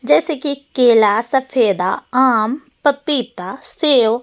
जैसे कि केला सफेदा आम पपीता सेब अनार ।